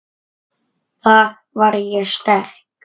Þar var ég sterk.